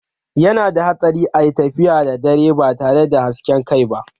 Yana da hatsari a yi tafiya da dare ba tare da hasken kai ba.